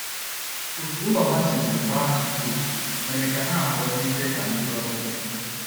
Otú ụlọ ha sizi gbaa chakoo mere ka ha abụọ dịzie ka ndị ọbịa.